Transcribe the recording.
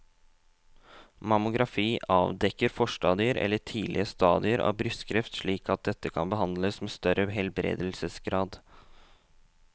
Mammografi avdekker forstadier eller tidlige stadier av brystkreft slik at dette kan behandles med større helbredelsesgrad.